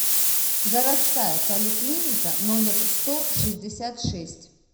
городская поликлиника номер сто шестьдесят шесть